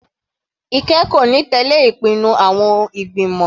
Ike kò ní tẹ̀lẹ́ ìpinnu àwọn ìgbìmọ̀.